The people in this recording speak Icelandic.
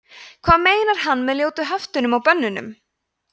hvað meinar hann með ljótu höftunum og bönnunum